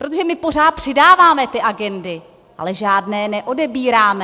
Protože my pořád přidáváme ty agendy, ale žádné neodebíráme.